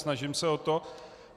Snažím se o to.